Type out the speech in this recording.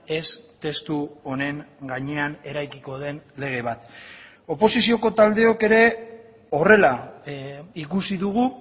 ez testu honen gainean eraikiko den lege bat oposizioko taldeok ere horrela ikusi dugu